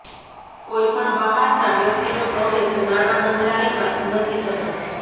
કોઈ પણ બહારના વ્યક્તિનો પ્રવેશ નાણા મંત્રાલયમાં નથી થતો